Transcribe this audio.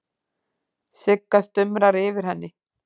Sigga stumrar yfir henni.